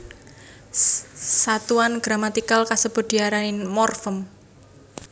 Satuan gramatikal kasebut diarani morfem